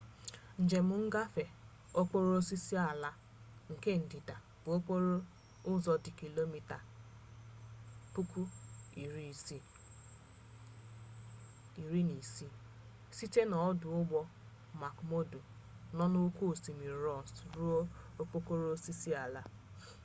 njem ngafe ma ọ bụ okporo ụzọ awara awara okporo osisi ala nke ndịda bụ okporo ụzọ dị kilomita 1600 site na ọdụ ụgbọ mcmurdo nọ na oké osimiri ross ruo okporo osisi ala